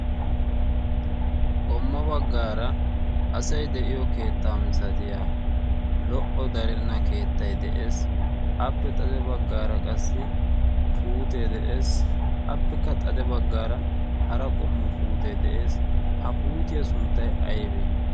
qommo baggaara asai de7iyo keettaa misatiya lo77o darenna keettai de7ees. appe xade baggaara qassi puutee de7ees. appekka xade baggaara hara qommo puutee de7ees. ha puutiyaa sunttai aibee?